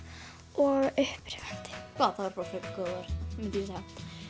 og upprífandi vá það eru bara frekar góð orð myndi ég segja